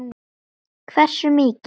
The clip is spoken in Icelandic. Hversu mikið?